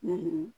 Ne ye